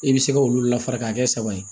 I bɛ se ka olu lafara k'a kɛ saba ye